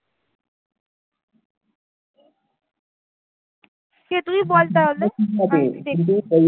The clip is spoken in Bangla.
তুই বল তাহলে